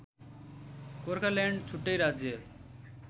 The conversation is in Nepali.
गोर्खाल्यान्ड छुट्टै राज्य